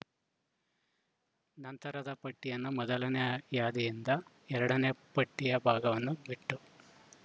ನಂತರದ ಪಟ್ಟಿಯನ್ನು ಮೊದಲನೇ ಯ ಯಾದಿಯಿಂದ ಎರಡನೇ ಪಟ್ಟಿಯ ಭಾಗವನ್ನು ಬಿಟ್ಟು